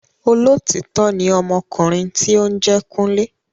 Olótítọ́ ni ọmọkùnrin tí óún jé Kunle